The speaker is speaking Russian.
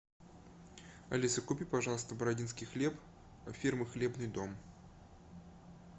алиса купи пожалуйста бородинский хлеб фирмы хлебный дом